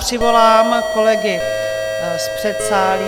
Přivolám kolegy z předsálí.